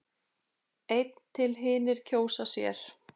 einn til hinir kjósa sér.